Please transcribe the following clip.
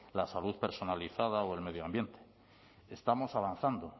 la salud personalizada o el medio ambiente estamos avanzando